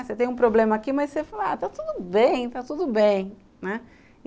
Você tem um problema aqui, mas você fala, ah, está tudo bem, está tudo bem, né?